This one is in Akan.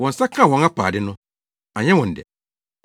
Wɔn nsa kaa wɔn apaade no, anyɛ wɔn dɛ.